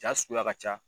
Jaa suguya ka ca